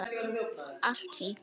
Allt fínt!